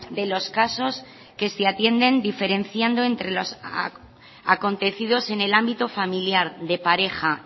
de los casos que se atienden diferenciando entre los acontecidos en el ámbito familiar de pareja